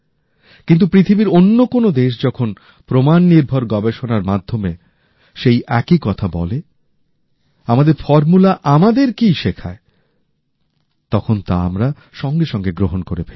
কিন্তু পৃথিবীর অন্য কোনো দেশ যখন প্রমাণ নির্ভর গবেষণার মাধ্যমে সেই একই কথা বলে আমাদের ফর্মুলা আমাদেরকেই শেখায় তখন তা আমরা সঙ্গে সঙ্গে গ্রহণ করে ফেলি